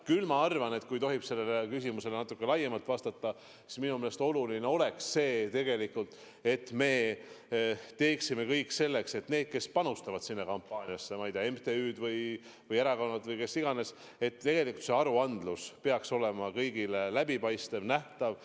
Küll ma arvan, kui tohib sellele küsimusele natuke laiemalt vastata, et minu meelest oleks oluline, et me teeksime kõik selleks, et need, kes panustavad sellesse kampaaniasse – ma ei tea, MTÜ-d või erakonnad või kes iganes –, et nende aruanded oleks kõigile kättesaadavad ja läbipaistvad.